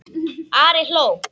Ari hló.